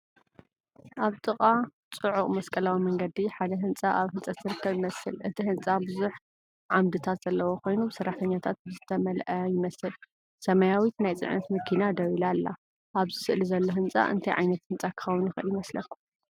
ኣብ ጥቓ ጽዑቕ መስቀላዊ መንገዲ ሓደ ህንጻ ኣብ ህንጸት ዝርከብ ይመስል። እቲ ህንጻ ብዙሕ ዓምድታት ዘለዎ ኮይኑ ብሰራሕተኛታት ዝተመልአ ይመስል። ሰማያዊት ናይ ጽዕነት መኪና ደው ኢላ ኣላ። ኣብዚ ስእሊ ዘሎ ህንጻ እንታይ ዓይነት ህንጻ ክኸውን ይኽእል ይመስለኩም?